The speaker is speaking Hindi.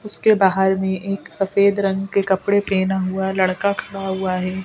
बाहर में एक सफेद रंग के कपड़े पहना हुआ लड़का खड़ा हुआ है.